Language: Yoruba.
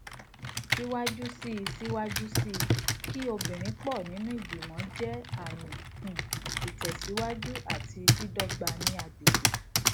síwájú sí síwájú sí kí obìnrin pọ nínú ìgbìmọ jẹ àmì um ìtẹsíwájú àti dídọgba ní agbègbè